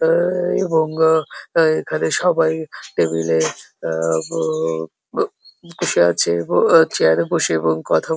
আ এবং আ এখানে সবাই টেবিল এ আ ব বো বসে আছে এবং চেয়ার এ বসে এবং কথা বো --